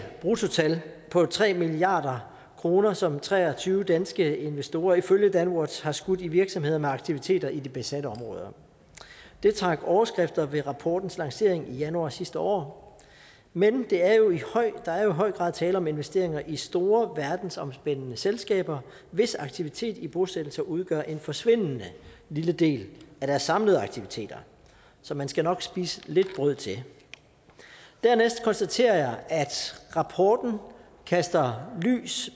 bruttotal på tre milliard kr som tre og tyve danske investorer ifølge danwatch har skudt i virksomheder med aktiviteter i de besatte områder det trak overskrifter ved rapportens lancering i januar sidste år men der er jo i høj grad tale om investeringer i store verdensomspændende selskaber hvis aktivitet i bosættelser udgør en forsvindende lille del af deres samlede aktiviteter så man skal nok spise lidt brød til dernæst konstaterer jeg at rapporten kaster lys